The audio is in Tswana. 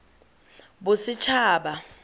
bosetšhaba